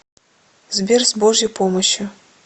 сбер с божьей помощью